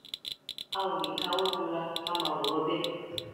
a ò lè káwọ gbera ká máa wòran bẹẹ